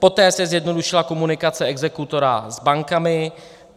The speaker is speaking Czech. Poté se zjednodušila komunikace exekutora s bankami.